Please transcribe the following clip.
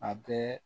A bɛɛ